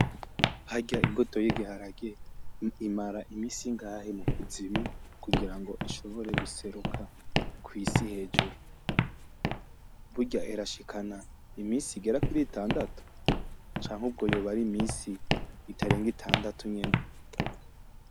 Harya imbuto y'igiharage imara imisi ingahe mu kuzimu kugira ngo ishobore guseruka kw'isi hejuru? Burya irashikana imisi igera kuri itandatatu? Canke ubwo yoba ari imisi itarenga itandatatu nyene?